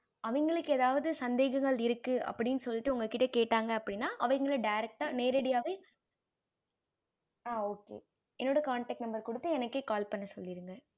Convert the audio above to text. அவங்களுக்கு எதாவது சந்தேகங்கள் இருக்கு அப்படின்னு சொல்லிட்டு உங்க கிட்ட கேட்டாங்க அப்படின்னா அவங்கள direct நேரடியாவே என்னோட connect number குடுத்து எனக்கே call பண்ண சொல்லிருங்க